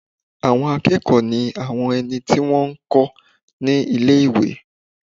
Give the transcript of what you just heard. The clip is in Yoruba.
Àwọn akẹ́kọ̀ọ́ ní àwọn ẹni tí wọ́n n kọ́ ní ilé-ìwé